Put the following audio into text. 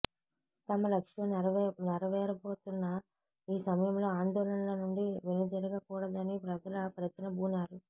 తమ లక్ష్యం నెరవేరబోతున్న ఈ సమయంలో ఆందోళనల నుండి వెను తిరగకూడదని ప్రజలు ప్రతిన బూనారు